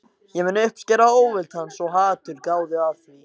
Ég mun uppskera óvild hans- og hatur, gáðu að því.